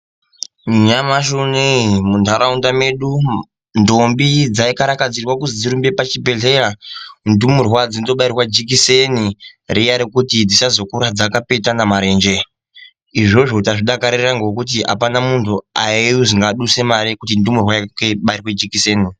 Nyamushi unou munharaunda medu umu ndombi dzaikarakadzirwe kuti dzirumbe pazvibhedhlera. Ndumurwa dzondobairwe jekiseni riya rekuti dzisazokura dzakapetana marenje. Izvozvo tazvidakarira maningi ngekuti apana muntu waizwi ngaabvise mari yekutindumurwa yake ibairwe jekiseni.